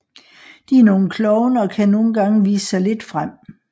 De er nogle klovne og kan nogle gange vise sig lidt frem